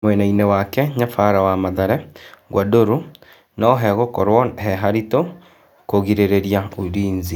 Mwenainĩ wake nyabara wa Mathare, Gwandarũ, no hegũkorwo he haritũ kũrigĩ rĩ ria Ulinzi.